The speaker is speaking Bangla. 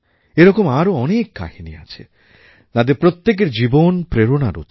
এরকম আরও অনেক কাহিনি আছে তাঁদের প্রত্যেকের জীবন প্রেরণার উৎস